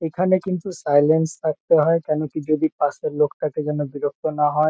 এখানে কিন্তু সাইলেন্স থাকতে হয়। কেন কি যদি পাশের লোকটাকে যেন বিরক্ত না হয়।